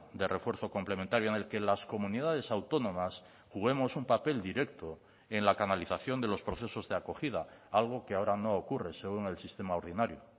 de refuerzo complementario en el que las comunidades autónomas juguemos un papel directo en la canalización de los procesos de acogida algo que ahora no ocurre según el sistema ordinario